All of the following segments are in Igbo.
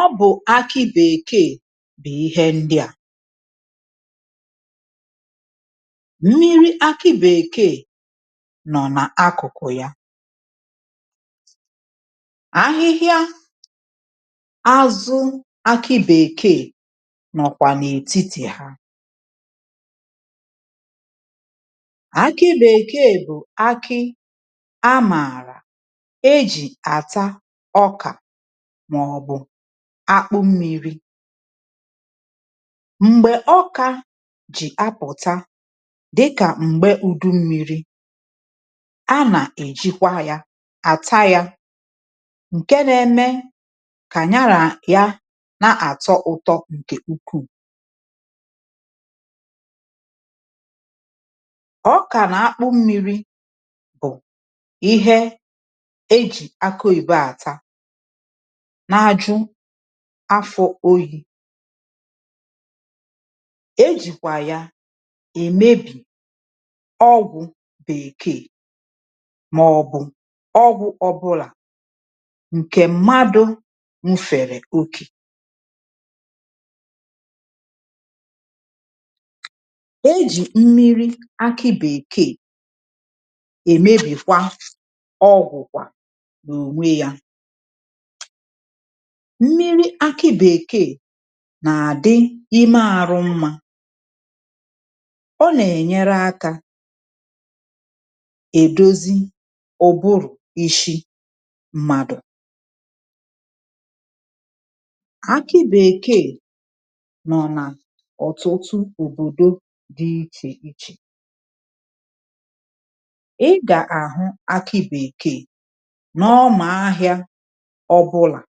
ọ bụ̀ akị bèkeè bụ̀ ihe ndị à. Mmirị akị bèkeè, no nà-àkụku hà. Ahihịa azu akị bèkeè no kwà n'etiti yà. Akị bèkeè bụ aki a marà eji ata ọka, mà ọ bụ akpụ mmiri. Mgbè ọka jì apụ̀ta, dịkà m̀gbe udu mmi̇ri, a nà-èjikwa ya àta ya, ǹke na-eme kà ya ra ya na-àtọ ụtọ ǹkè ukwuu. ọkà nà akpụ mmi̇ri, bụ̀ ihe ejì akụ oyìbo àta na-ajụ afọ oyi. ̇ Ejìkwà ya èmebì ọgwụ̇ bekee mà ọ̀ bụ̀ ọgwụ̇ ọ bụlà ǹkè mmadụ̇ nufèrè okė. Ejì mmiri akị bèkeè èmebìkwa ọgwụ̀kwà nà ònwe yȧ. Mmiri̇ akị bèkeè nà-àdị ime àrụ mmȧ, ọ nà-ènyere akȧ èdozi ụbụrụ̀ ishi mmàdụ̀. Akị bèkeè nọ̀ nà ọ̀tụtụ òbòdo dị ichè ichè. ị gà-àhụ akị bèkeè n’ọmà ahịȧ ọ bụlà.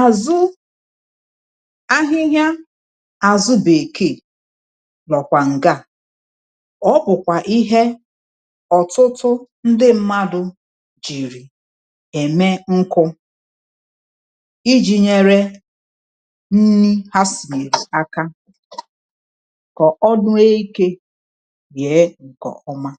Azụ ahihịa àzụ bèkeè nọ̀kwà ǹga a, ọ bụ̀kwà ihe ọ̀tụtụ ndị mmadụ̇ jìrì ème nkụ, iji̇ nyere nni ha sìri aka kà ọnụ eke nye nkè ọmà.